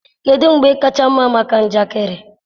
kedụ mgbe kacha mma maka njakịrị?